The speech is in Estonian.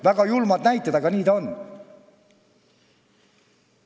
Väga julmad näited, aga nii ta on.